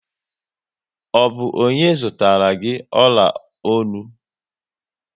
Ọ bụ ọnye zụtara gị ọla ọnụ?